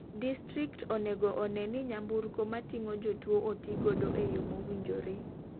Distrikt onego oneni nyamburko mating'o jotuo oti godo e yoo mowinjore.